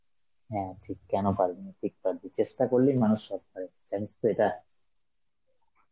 হ্যাঁ ঠিক কেনো পারবেনা, ঠিক পারবি, চেষ্টা করলেই মানুষ সব পারে জানিস তো এটা?